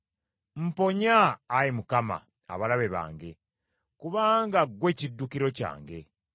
Mponya, Ayi Mukama , abalabe bange, kubanga ggwe kiddukiro kyange.